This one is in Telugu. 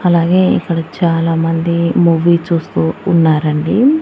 అలాగే ఇక్కడ చాలామంది మూవీ చూస్తూ ఉన్నారండి.